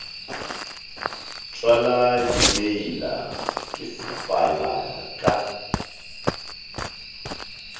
tšwala dimeila ke sefala ka